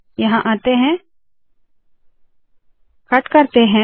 यहाँ आते है कट करते है